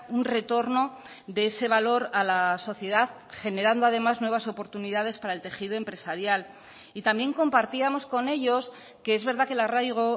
un retorno de ese valor a la sociedad generando además nuevas oportunidades para el tejido empresarial y también compartíamos con ellos que es verdad que el arraigo